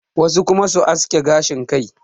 wasu kuma su aske gashin Kai